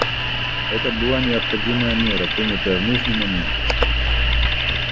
это была необходимая мера принятая в нужный момент